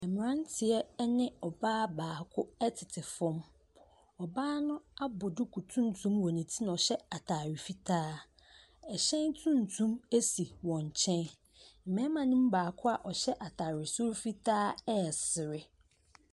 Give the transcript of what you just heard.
Mmeranteɛ ne ɔbaa baako tete fam, ɔbaa no abɔ duku tuntum wɔ ne ti na ɔhyɛ ataare fitaa. Hyɛn tuntum si wɔn nkyɛn. Mmarima ne mu baako a ɔhyɛ ataare soro fitaa ɛresere.